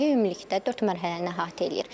Layihə ümumilikdə dörd mərhələni əhatə eləyir.